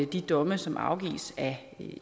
de domme som afsiges af